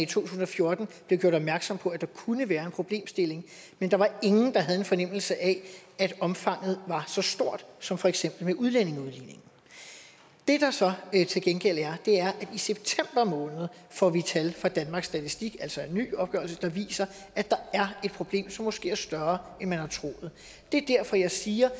tusind og fjorten blev gjort opmærksom på at der kunne være en problemstilling men der var ingen der havde en fornemmelse af at omfanget var så stort som for eksempel med udlændingeudligningen det der så til gengæld er er at i september måned får vi tal fra danmarks statistik altså en ny opgørelse der viser at der er et problem som måske er større end man har troet det er derfor jeg siger